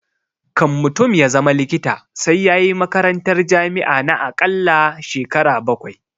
Kan mutum ya zama likita sai yayi makarantar jami'a na akalla shekara bakwai